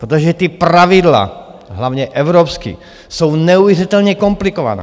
Protože ta pravidla hlavně evropská jsou neuvěřitelně komplikovaná.